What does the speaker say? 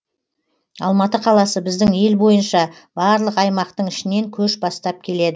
алматы қаласы біздің ел бойынша барлық аймақтың ішінен көш бастап келеді